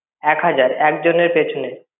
এক হাজার একজন এর পিছনে.